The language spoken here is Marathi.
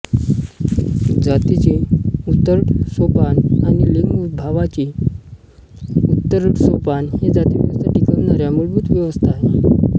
जातीची उतरंडसोपान आणि लिंगभावाची उतरंडसोपान हे जातीव्यवस्था टिकवणाऱ्या मुलभूत व्यवस्था आहेत